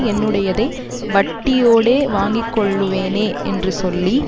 என்னுடையதை வட்டியோடே வாங்கிக்கொள்ளுவேனே என்று சொல்லி